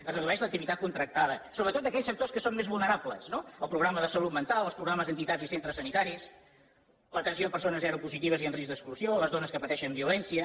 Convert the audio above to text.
es redueix l’activitat contractada sobretot d’aquells sectors que són més vulnerables no el programa de salut mental els programes d’entitats i centres sanitaris l’atenció a persones seropositives i amb risc d’exclusió les dones que pateixen violència